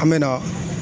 An bɛ na